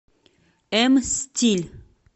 м стиль